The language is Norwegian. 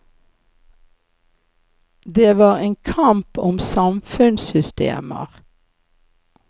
Det var en kamp om samfunnssystemer.